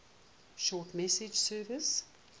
short message service